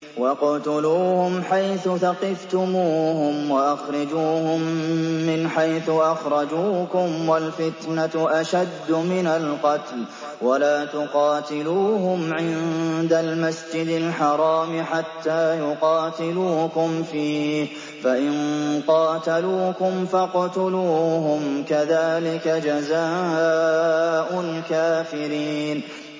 وَاقْتُلُوهُمْ حَيْثُ ثَقِفْتُمُوهُمْ وَأَخْرِجُوهُم مِّنْ حَيْثُ أَخْرَجُوكُمْ ۚ وَالْفِتْنَةُ أَشَدُّ مِنَ الْقَتْلِ ۚ وَلَا تُقَاتِلُوهُمْ عِندَ الْمَسْجِدِ الْحَرَامِ حَتَّىٰ يُقَاتِلُوكُمْ فِيهِ ۖ فَإِن قَاتَلُوكُمْ فَاقْتُلُوهُمْ ۗ كَذَٰلِكَ جَزَاءُ الْكَافِرِينَ